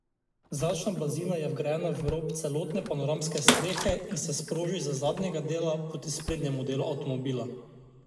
Zračna blazina je vgrajena v rob celotne panoramske strehe in se sproži z zadnjega dela proti sprednjemu delu avtomobila.